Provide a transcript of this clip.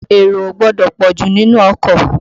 Èrò ò gbọdọ̀ pọ̀jù nínú ọkọ̀.